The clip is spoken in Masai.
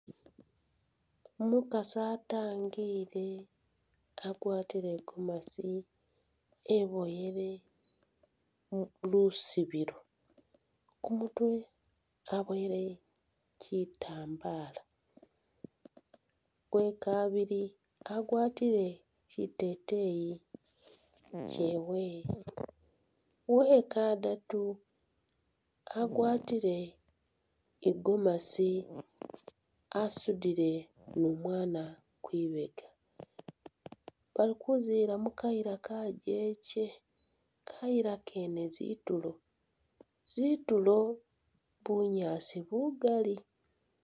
Umukaasi ataangile agwatile igomasi eboyele lusobilo kumutwe aboyele chitambaala, uwekabiile agwatile chiteteyi chewe, uwekadaatu agwatile igomasi asudile ne umwana kwibeega, bali kuziila mukayila kajeje, kayiila kene zitulo, zitulo bunyaasi bugaali.